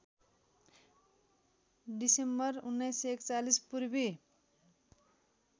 December १९४१ Purvi